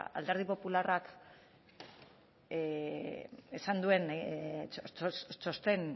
alderdi popularrak esan duen txosten